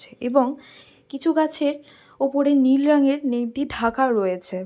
ছে এবং কিছু গাছের ওপরে নীল রঙের নেট দিয়ে ঢাকা রয়েছে।